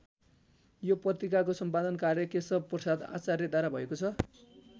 यो पत्रिकाको सम्पादन कार्य केशव प्रसाद आचार्यद्वारा भएको छ।